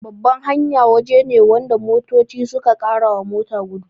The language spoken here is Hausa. Babban hanya waje ne wanda motoci suka karawa mota gudu